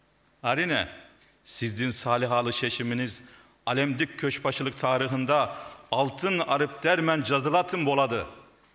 әрине сіздің салиқалы шешіміңіз әлемдік көшбасшылық тарихында алтын әріптермен жазылатын болады